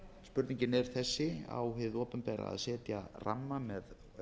spurningin er þessi á hið opinbera að setja ramma með